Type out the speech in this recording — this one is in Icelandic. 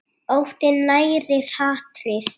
Óttinn nærir hatrið.